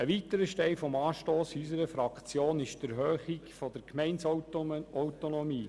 Ein weiterer Stein des Anstosses für unsere Fraktion ist die Erhöhung der Gemeindeautonomie.